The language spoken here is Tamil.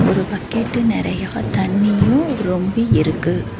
ஒரு பக்கெட்டு நெறையா தண்ணியு ரொம்பி இருக்கு.